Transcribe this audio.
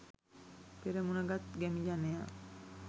පෙරමුණ ගත් ගැමි ජනයා